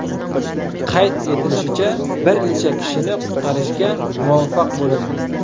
Qayd etilishicha, bir necha kishini qutqarishga muvaffaq bo‘lindi.